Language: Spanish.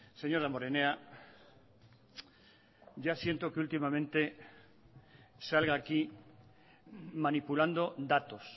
señor damborenea ya siento que últimamente salga aquí manipulando datos